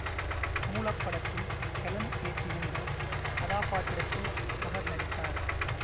மூலப்படத்தில் Helen ஏற்றிருந்த கதாபாத்திரத்தில் அவர் நடித்தார்